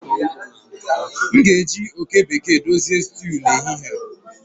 M ga-eji oke bekee dozie stew n'ehihie a